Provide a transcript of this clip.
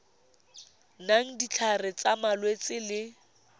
nayang ditlhare tsa malwetse le